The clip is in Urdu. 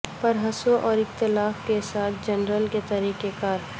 پار حصوں اور اختلافات کے ساتھ جنرل کے طریقہ کار